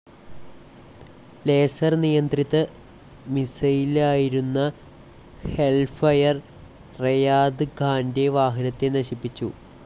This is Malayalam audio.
ലേസർ നിയന്ത്രിത മിസൈലായിരുന്ന ഹെൽഫയർ റെയാദ് ഖാന്റെ വാഹനത്തെ നശിപ്പിച്ചു.